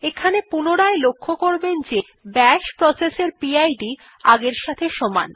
এখানে পুনরায় লক্ষ্য করবেন যে bash প্রসেস এর পিড আগের সাথে সমান